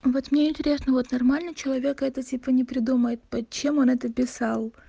вот мне интересно вот нормальный человек это типа не придумает под чем он это писал